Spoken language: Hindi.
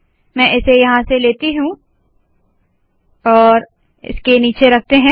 मैं इसे यहाँ लेती हूँ इसके नीचे रखते है